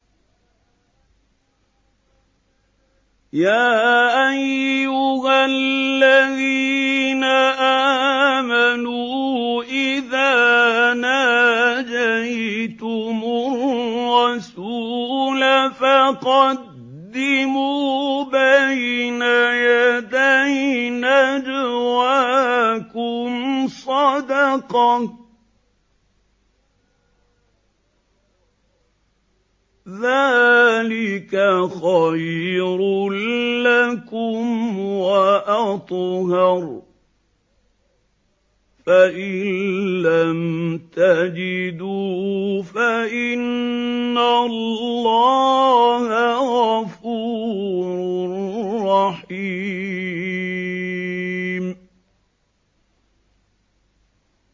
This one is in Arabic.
يَا أَيُّهَا الَّذِينَ آمَنُوا إِذَا نَاجَيْتُمُ الرَّسُولَ فَقَدِّمُوا بَيْنَ يَدَيْ نَجْوَاكُمْ صَدَقَةً ۚ ذَٰلِكَ خَيْرٌ لَّكُمْ وَأَطْهَرُ ۚ فَإِن لَّمْ تَجِدُوا فَإِنَّ اللَّهَ غَفُورٌ رَّحِيمٌ